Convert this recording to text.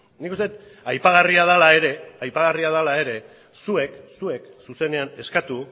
nik uste aipagarria dela ere zuek zuzenean eskatu